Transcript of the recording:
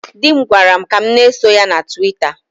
Dị m gwara m ka m na-eso ya na Tụwita.